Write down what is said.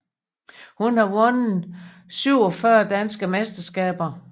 Hun har vundet 47 danske mesterskaber